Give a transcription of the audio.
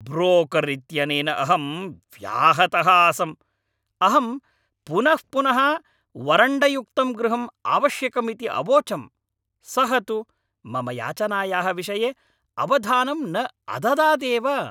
Broker इत्यनेन अहं व्याहतः आसम्। अहं पुनः पुनः वरण्डयुक्तं गृहम् आवश्यकम् इति अवोचम्, सः तु मम याचनायाः विषये अवधानं न अददात् एव।